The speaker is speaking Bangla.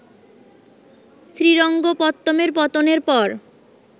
শ্রীরঙ্গপত্তমের পতনের পর